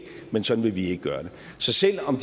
men sådan vil vi ikke gøre det så selv om